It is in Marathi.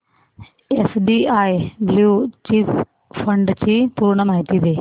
एसबीआय ब्ल्यु चिप फंड ची पूर्ण माहिती दे